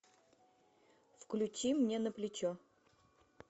включи мне на плечо